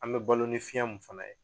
An bɛ balo ni fiɲɛ mun fana ye